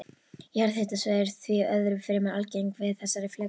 Jarðhitasvæði eru því öðru fremur algeng við þessi flekaskil.